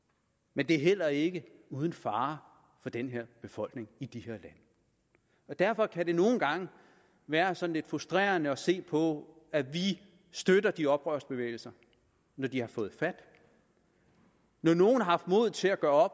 men det er heller ikke uden fare for den her befolkning i de lande derfor kan det nogle gange være sådan lidt frustrerende at se på at vi støtter de oprørsbevægelser når de har fået fat når nogle har haft mod til at gøre